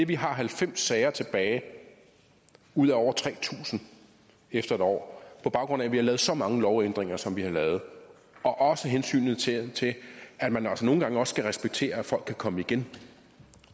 vi har halvfems sager tilbage ud af over tre tusind efter et år på baggrund af at vi har lavet så mange lovændringer som vi har lavet og også hensynet til at man altså nogle gange skal respektere at folk kan komme igen